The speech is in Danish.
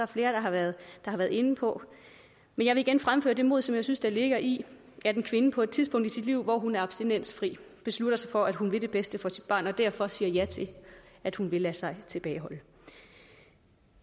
flere der har været inde på men jeg vil igen fremføre det mod som jeg synes ligger i at en kvinde på et tidspunkt i sit liv hvor hun er abstinensfri beslutter sig for at hun vil det bedste for sit barn og derfor siger ja til at hun vil lade sig tilbageholde